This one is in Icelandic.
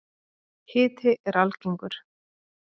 Hiti er algengur.